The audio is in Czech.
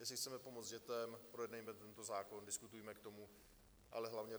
Jestli chceme pomoct dětem, projednejme tento zákon, diskutujme k tomu, ale hlavně